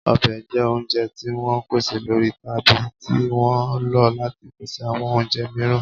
Ọbẹ̀ jẹ́ oúnjẹ tí wọ́n ń pèsè lórí tàbí tí wọ́n ń lò ó láti pèsè àwọn oúnjẹ mìíràn